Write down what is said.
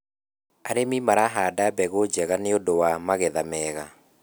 arĩmi marahanda mbegũ njega nĩũndũ wa magetha mega